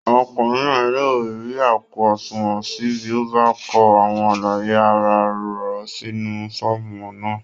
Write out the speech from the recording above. Ọ̀kùnrin náà yóò rí àpò àṣùnwọ̀n ṣí bí ó bá kọ àwọn àlàyé ara rọ̀ sínú fọ́ọ̀mù náà